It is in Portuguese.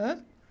Hã?